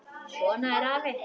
Svona er afi.